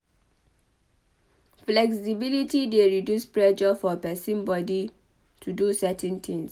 Flexibility dey reduce pressure for person body to do certain things